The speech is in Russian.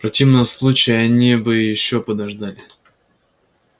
в противном случае они бы ещё подождали